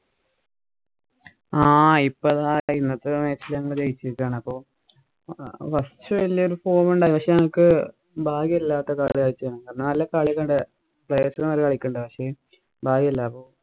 ആഹ് ഇപ്പൊ ദാ ഇന്നത്തെ match ഇല് ഞങ്ങള് ജയിച്ചിരിക്കയാണ്. കൊറച്ചു വല്യ ഒരു form ഉണ്ടാരുന്നു. പക്ഷേ ഞങ്ങള്‍ക്ക് ഭാഗ്യം ഇല്ലാത്ത കളിയായി പോയി. നല്ല കളിയൊക്കെ ഉണ്ടാരുന്നു. Playe's നല്ല കളിക്കുണ്ടായിരുന്നു. പക്ഷേ ഭാഗ്യം ഇല്ല.